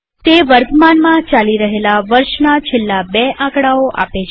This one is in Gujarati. તે વર્તમાનમાં ચાલી રહેલા વર્ષના છેલ્લા બે આકડાઓ આપે છે